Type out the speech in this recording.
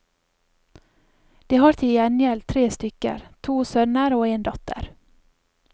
De har til gjengjeld tre stykker, to sønner og en datter.